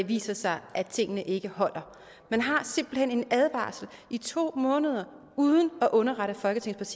viser sig at tingene ikke holder man har simpelt hen en advarsel i to måneder uden at underrette folketingets